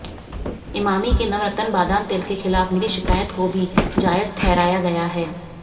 ईमामी के नवरत्न बादाम तेल के खिलाफ मिली शिकायत को भी जायज ठहराया गया है